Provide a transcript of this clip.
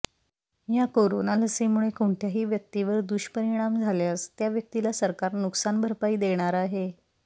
या कोरोना लसीमुळे कोणत्याही व्यक्तीवर दुष्परिणाम झाल्यास त्या व्यक्तीला सरकार नुकसानभरपाई देणार आहे